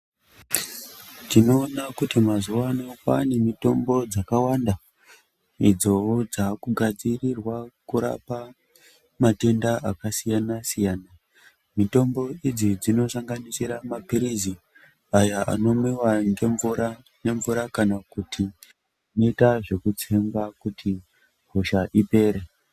Tinoona kuti mazuva ano kwaane mitombo dzakawanda idzowo dzaakugadzrirwa kurapa matenda akasiyana siyana, mitombo idzi dzinosanganisira mapirizi aya anomwiwa ngemvura kana kuti anoita zvekutsengwa kuti hosha ipere.